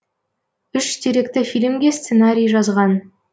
үш деректі фильмге сценариий жазған